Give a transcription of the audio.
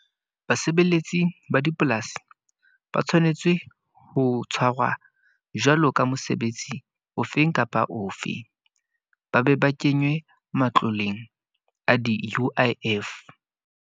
Basebeletsi ba dipolasi, ba tshwanetse ho tshwarwa jwalo ka mosebetsi ofeng kapa ofe. Ba be ba kenywe matloleng a di-U_I_F.